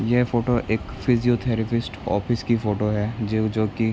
ये फोटो एक physiotherapist office की फोटो है जो जो की --